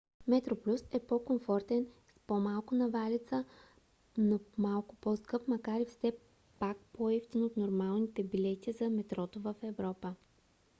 metroplus е по - комфортен и с по - малко навалица но малко по - скъп макар и все пак по - евтин от нормалните билети за метрото в европа